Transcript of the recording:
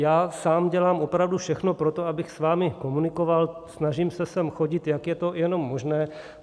Já sám dělám opravdu všechno pro to, abych s vámi komunikoval, snažím se sem chodit, jak je to jenom možné.